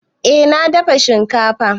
Eh na dafa shinkafa.